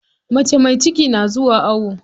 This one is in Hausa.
Mace mai ciki na zuwa awo.